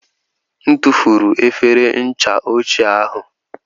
M tụfuru efere ncha ochie ahụ.